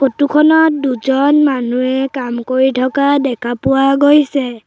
Photo খনত দুজন মানুহে কাম কৰি থকা দেখা পোৱা গৈছে।